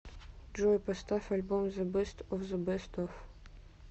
джой поставь альбом зе бест оф зе бест оф